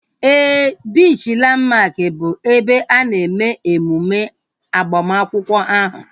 Éè, biichi Landmark bụ ebe a na-eme emume agbamakwụkwọ ahu